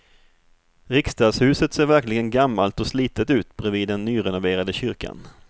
Riksdagshuset ser verkligen gammalt och slitet ut bredvid den nyrenoverade kyrkan.